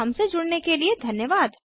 हमसे जुड़ने के लिए धन्यवाद